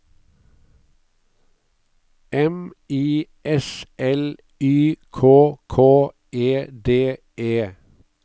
M I S L Y K K E D E